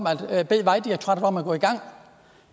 at bede vejdirektoratet om at gå i gang